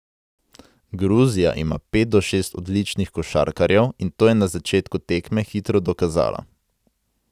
Gruzija ima pet do šest odličnih košarkarjev in to je na začetku tekme hitro dokazala.